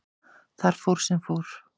Þar fór sem fór.